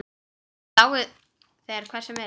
Lái þér hver sem vill.